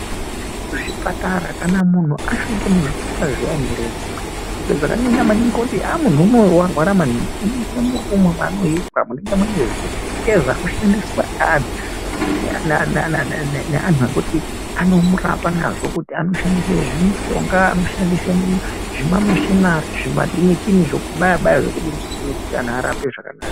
Muzvipatara kana munhu asvike muzvipatara zviyani heree zvimwe zvakanyanya maningi zvekuti mundu unowu warara maningi unosvika murumu maanoiswa munenge mune zveshe zvashandiswa naanhu ekuti anomurapa nazvo anoshandise zvimushonga anoshandise zvimameshinari zvokubaya baya kuti anhu araowe zvakanaka.